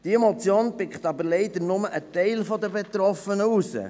Diese Motion deckt jedoch leider nur einen Teil der Betroffenen ab.